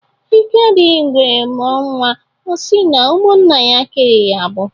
Ike adighị ngwere mụọ nnwa ọ si na ụmụnna ya kere ya agbụ